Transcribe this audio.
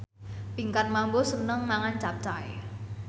Pinkan Mambo seneng mangan capcay